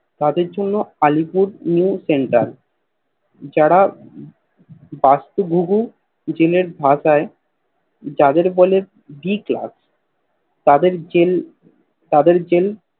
তাদের জন্য Alipur New Center যারা বস্তু ভুগি জেল এর ভাওতাই যাদের বলে D Class তাদের জেল তাদের জেল